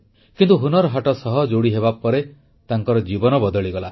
କିନ୍ତୁ ହୁନର୍ ହାଟ ସହ ଯୋଡ଼ି ହେବାପରେ ତାଙ୍କର ଜୀବନ ବଦଳିଗଲା